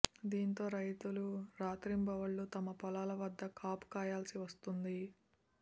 దీంతో రైతులు రాత్రింబవళ్లు తమ పొలాల వద్ద కాపు కాయాల్సి వస్తోంది